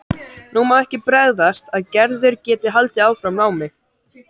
Nú má ekki bregðast að Gerður geti haldið áfram námi.